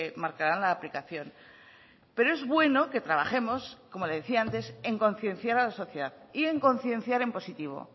marcarán la aplicación pero es bueno que trabajemos como le decía antes en concienciar a la sociedad y en concienciar en positivo